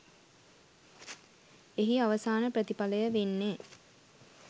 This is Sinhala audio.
එහි අවසාන ප්‍රතිඵලය වෙන්නේ